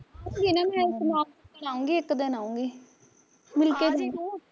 ਆਊਗੀ ਨਾ ਮੈਂ ਅਹ ਸਮਾਨ ਚਕਣ ਆਊਗੀ ਇੱਕ ਦਿਨ ਆਊਗੀ ਮਿਲ ਕੇ ਜਾਊਗੀ